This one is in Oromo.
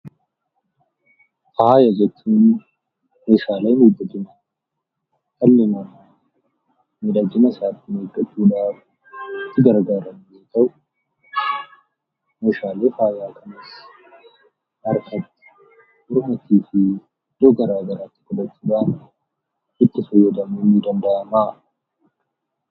Faaya jechuun meeshaalee miidhaginaa yookiin dhalli namaa miidhagina isaatiif itti gargaaramu yoo ta'u, meeshaalee faayaa kanas harkatti, mormattii fi iddoo garaagaraatti hidhachuudhaan itti fayyadamuun ni danda'ama.